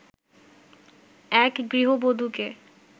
এক গৃহবধূকে